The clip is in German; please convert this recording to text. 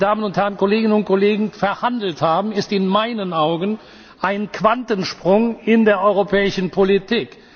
Das, was die Damen und Herren Kolleginnen und Kollegen verhandelt haben, ist in meinen Augen ein Quantensprung in der europäischen Politik.